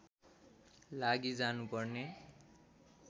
लागि जानु पर्ने